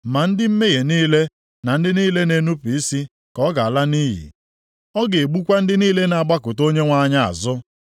Ma ndị mmehie niile na ndị niile na-enupu isi ka ọ ga-ala nʼiyi; ọ ga-egbukwa ndị niile na-agbakụta Onyenwe anyị azụ.